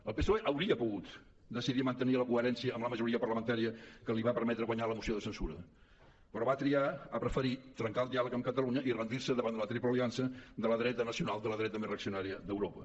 el psoe hauria pogut decidir mantenir la coherència amb la majoria parlamentària que li va permetre guanyar la moció de censura però va triar ha preferit trencar el diàleg amb catalunya i rendir se davant de la triple aliança de la dreta nacional de la dreta més reaccionària d’europa